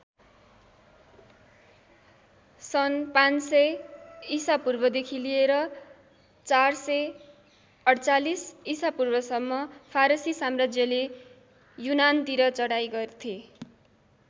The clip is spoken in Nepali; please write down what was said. सन् ५०० ईसापूर्वदेखि लिएर ४४८ ईसापूर्वसम्म फारसी साम्राज्यले युनानतिर चढाई गर्थे।